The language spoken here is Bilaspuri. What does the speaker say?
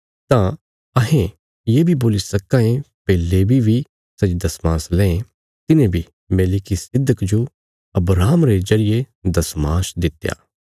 तां अहें ये बी बोल्ली सक्कां ये भई लेवी बी सै जे दशमांश लें तिन्हें बी मेलिकिसिदक जो अब्राहम रे जरिये दशमांश दित्या